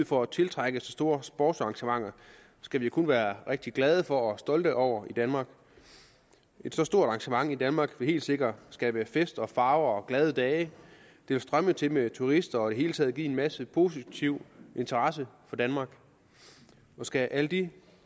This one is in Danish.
for at tiltrække så store sportsarrangementer skal vi kun være rigtig glade for og stolte over i danmark et så stort arrangement i danmark vil helt sikkert skabe fest farve og glade dage det vil strømme til med turister og i det hele taget give en masse positiv interesse for danmark skal alle de